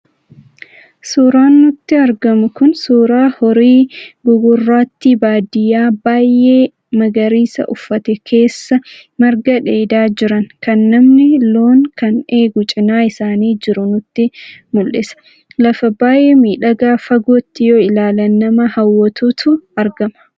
Suuraan nutti argamu kun suuraa horii gugurraattii baadiyaa baay'ee magariisa uffate keessaa marga dheedaa jiran, kan namni loon kan eegu cinaa isaanii jiru nutti mul'isa. Lafa baay'ee miidhagaa fagootti yoo ilaalan nama hawwatutu argama.